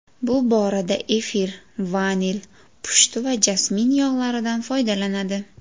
Bu borada efir, vanil, pushti va jasmin yog‘laridan foydalanadi.